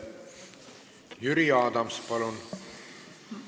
Jüri Adams, palun!